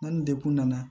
N'an degunna